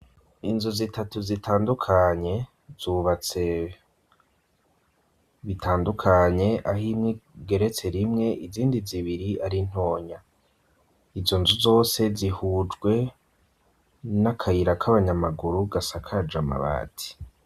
Inzu zitatu zitandukanye, zubatse bitandukanye, aho imwe igeretse rimwe izindi zibiri ari ntonya; izo nzu zose zihujwe n'akayira k'abanyamaguru gasakaje amabati.